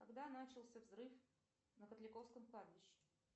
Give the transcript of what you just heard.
когда начался взрыв на котляковском кладбище